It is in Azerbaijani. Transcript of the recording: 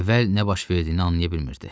Əvvəl nə baş verdiyini anlaya bilmirdi.